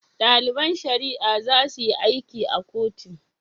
Daliban shari'a zasuyi aiki a kotu